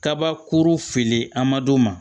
Kabakuru fili amadon ma